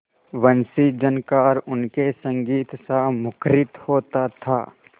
वंशीझनकार उनके संगीतसा मुखरित होता था